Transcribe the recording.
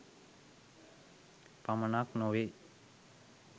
පමණක් නෙවෙයි.